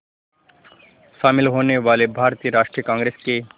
शामिल होने वाले भारतीय राष्ट्रीय कांग्रेस के